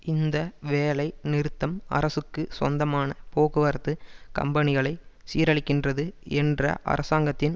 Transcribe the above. இந்த வேலை நிறுத்தம் அரசுக்கு சொந்தமான போக்குவரத்து கம்பனிகளை சீரழிக்கின்றது என்ற அரசாங்கத்தின்